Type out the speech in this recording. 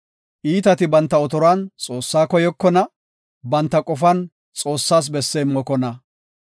Iitati banta otoruwan Xoossaa koyokona; banta qofan Xoossas besse immokona.